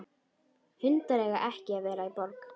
Hundar eiga ekki að vera í borg.